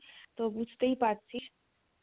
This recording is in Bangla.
তো বুঝতেই পারছিস